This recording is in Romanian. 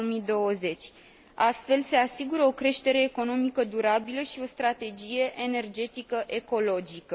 2020. Astfel, se asigură o creștere economică durabilă și o strategie energetică ecologică.